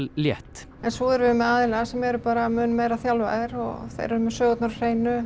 létt en svo erum við með aðila sem eru mun meira þjálfaðir eru með sögurnar á hreinu